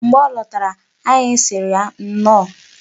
Mgbe ọ lọtara, anyị sịrị ya nnọọ.